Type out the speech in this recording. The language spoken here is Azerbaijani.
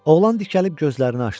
Oğlan dikəlib gözlərini açdı.